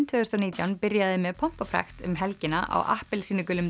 tvö þúsund og nítján byrjaði með pompi og prakt um helgina á appelsínugulum